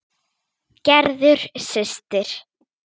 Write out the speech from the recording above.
Gerður systir.